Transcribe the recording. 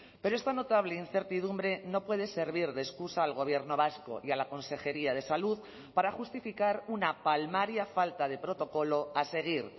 pero esta notable incertidumbre no puede servir de excusa al gobierno vasco y a la consejería de salud para justificar una palmaria falta de protocolo a seguir